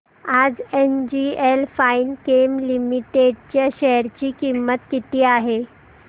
आज NGL Finechem Limited च्या share ची किंमत किती आहे